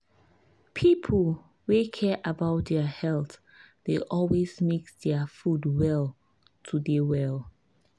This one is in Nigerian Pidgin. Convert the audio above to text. people wey care about their health dey always mix their food well to dey well.